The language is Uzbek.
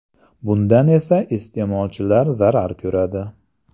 Bundan esa iste’molchilar zarar ko‘radi.